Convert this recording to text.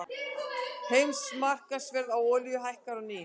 Heimsmarkaðsverð á olíu hækkar á ný